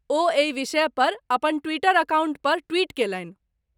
ओ एहि विषय पर अपन ट्विटर एकाउण्ट पर ट्विट केलनि।